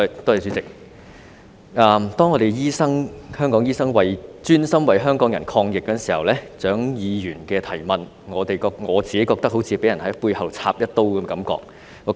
當香港醫生專心為港人抗疫，蔣議員的質詢令我有種被人在背後插一刀的感覺。